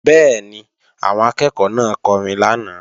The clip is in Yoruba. Bẹ́ẹ̀ni, àwọn akẹ́ẹ̀kọ́ náà kọrin lánàá